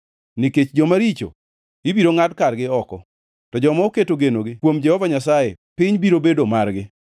Nikech joma richo ibiro ngʼad kargi oko, to joma oketo genogi kuom Jehova Nyasaye piny biro bedo margi.